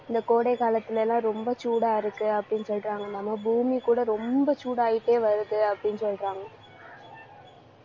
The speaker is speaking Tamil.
இந்த கோடை காலத்துலலாம் ரொம்ப சூடா இருக்கு, அப்படின்னு சொல்றாங்க நம்ம பூமி கூட ரொம்ப சூடாயிட்டே வருது அப்படின்னு சொல்றாங்க